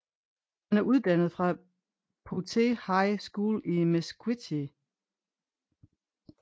Han er uddannet fra Poteet High School i Mesquite